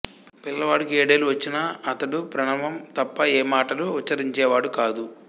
పిల్లవాడికి ఏడేళ్ళు వచ్చినా అతడు ప్రణవం తప్ప ఏ మాటలు ఊచ్ఛరించేవాడు కాదు